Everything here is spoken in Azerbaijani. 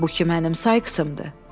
Bu ki mənim Sykesımdır.